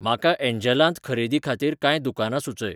म्हाका एन्जलांत खरेदेखातीर कांय दुकानां सुचय